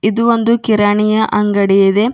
ಇದು ಒಂದು ಕಿರಾಣಿಯ ಅಂಗಡಿ ಇದೆ.